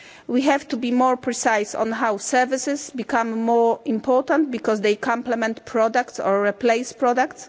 We have to be more precise on how services become more important because they complement products or replace products.